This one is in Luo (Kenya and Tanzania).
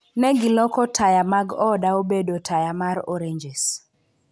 Ne giloko taya mag oda obedo taya mar oranges.